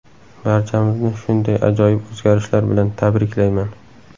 Barchamizni shunday ajoyib o‘zgarishlar bilan tabriklayman!